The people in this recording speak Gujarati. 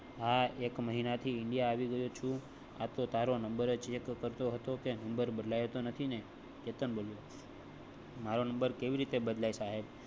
હા, એક મહિના થી ઇન્ડિયા. આવી ગયો છું આતો તારો નંબર check કરતો હતો કે નંબર બદલ્યો તો નથી ને? કેતન બોલિયું મારો નંબર કેવી રીતે બદલાય? સાહેબ